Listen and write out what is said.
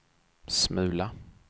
smula